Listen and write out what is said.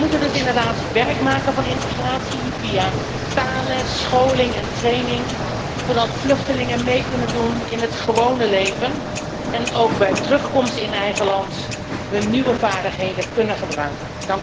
We moeten dus inderdaad werk maken van integratie via taalles, scholing en training, zodat vluchtelingen mee kunnen doen in het gewone leven en ook bij terugkomst in eigen land hun nieuwe vaardigheden kunnen gebruiken.